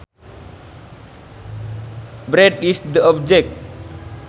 bread is the object